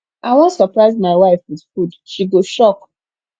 i wan surprise my wife with food she go shock